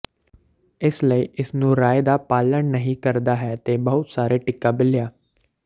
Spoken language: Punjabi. ਇਸ ਲਈ ਇਸ ਨੂੰ ਰਾਏ ਦਾ ਪਾਲਣ ਨਹੀ ਕਰਦਾ ਹੈ ਦੇ ਬਹੁਤ ਸਾਰੇ ਟੀਕਾ ਬਿੱਲੀਆ